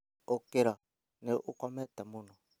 ũkĩra, nĩ ũkomete mũno